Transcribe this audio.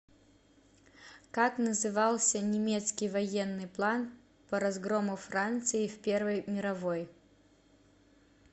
как назывался немецкий военный план по разгрому франции в первой мировой